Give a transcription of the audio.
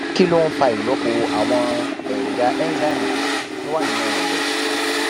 kí ló ń fa ìlópo àwọn èròjà enzyme tó wà nínú ẹdọ